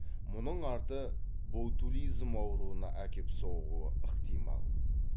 мұның арты ботулизм ауруына әкеп соғуы ықтимал